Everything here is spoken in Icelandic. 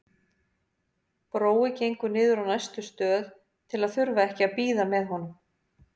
Brói gengur niður á næstu stöð til að þurfa ekki að bíða með honum.